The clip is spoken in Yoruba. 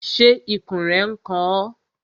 Ṣé ikùn rẹ n kan ọ?